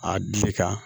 A dile kan